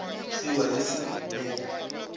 kgiwa le sa le le